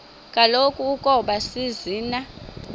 kaloku ukoba zisina